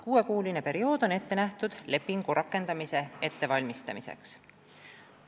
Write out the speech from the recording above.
Kuue kuu pikkune periood on ette nähtud lepingu rakendamise ettevalmistamiseks.